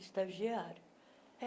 Estagiária.